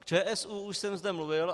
K ČSÚ už jsem zde mluvil.